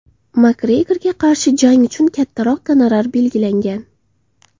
Makgregorga qarshi jang uchun kattaroq gonorar belgilangan.